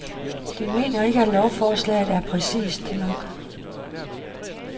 De mener ikke, at lovforslaget er præcist nok.